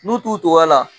N'u t'u tɔgɔ la